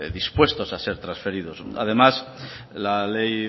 dispuestos a ser trasferidos además la ley